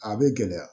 A bɛ gɛlɛya